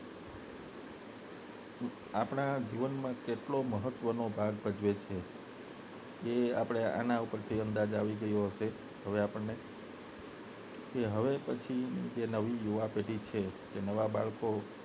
આપણા જીવનમાં કેટલું મહત્વ નો ભાગ ભજવે છે એ આપણા આના પરથી અંદાજ આવી ગયો હશે હવે આપને હવે પછીની નવી યુવા પેઢી છે જે નવા બાળકો